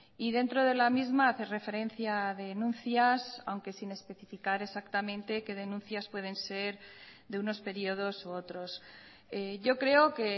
y dentro de la misma hace referencia a denuncias aunque sin especificar exactamente qué denuncias pueden ser de unos periodos u otros yo creo que